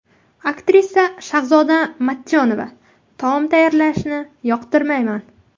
Aktrisa Shahzoda Matchonova: Taom tayyorlashni yoqtirmayman.